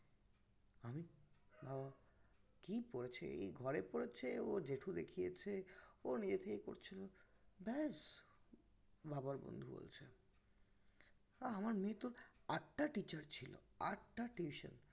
কি পরেছে এই ঘরে পরেছে অর জেঠু দেখিয়েছে ও নিজের থেকেই পরছিল ব্যাস বাবার বন্ধু বলছে তা আমার মেয়ের তহ আটটা teacher ছিল আটটা tuition